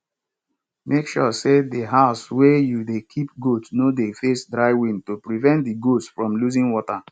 make sure say di house wey you dey keep goat no dey face dry wind to prevent di goats from losing water